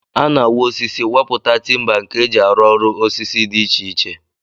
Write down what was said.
A na-awa osisi, wapụta timba nke e ji arụ ọrụ osisi dị iche iche